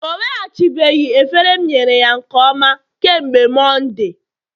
o nweghachibeghị efere m nyere ya nke ọma kemgbe Mọnde